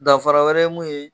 Dafara wɛrɛ ye mun ye.